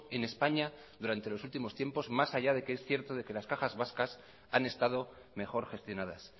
en españa durante los últimos tiempos más allá de que es cierto de que las cajas vascas han estado mejor gestionadas